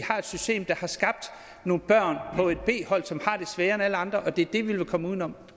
har et system der har skabt nogle børn på et b hold som har det sværere end alle andre og det er det vi vil komme uden om